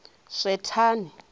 swethani